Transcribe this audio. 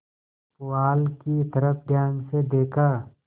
पुआल की तरफ ध्यान से देखा